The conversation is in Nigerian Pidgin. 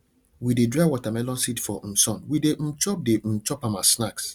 we de dry watermelon seed for um sun we de um chop de um chop am as snack